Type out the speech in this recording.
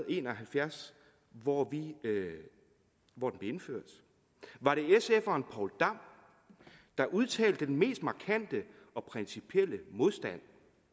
en og halvfjerds hvor hvor den blev indført var det sferen poul dam der udtalte den mest markante og principielle modstand